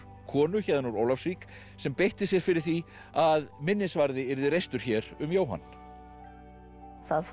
konu héðan úr Ólafsvík sem beitti sér fyrir því að minnisvarði yrði reistur hér um Jóhann það fórst